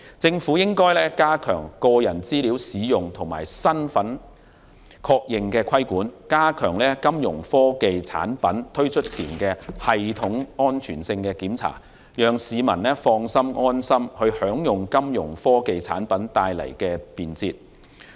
政府應加強個人資料使用和身份確認的規管，加強金融科技產品推出前的系統安全性檢查，讓市民放心和安心地享用金融科技產品帶來的便捷。